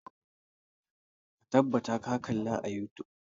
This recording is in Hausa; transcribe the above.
Ka tabbata ka kalla a youtube!